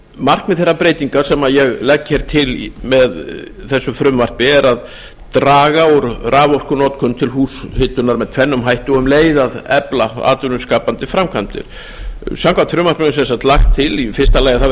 markmið þeirra breytinga sem ég legg til með þessu frumvarpi er að draga úr raforkunotkun til húshitunar með tvennum hætti og um leið að efla atvinnuskapandi framkvæmdir samkvæmt frumvarpinu er lagt að í fyrsta lagi verði